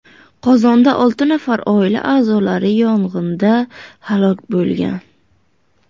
Qozonda olti nafar oila a’zolari yong‘inda halok bo‘lgan.